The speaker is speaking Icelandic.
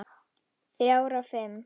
Þrjár af fimm.